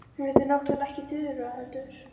Hún heitir náttúrlega ekki Þura, heldur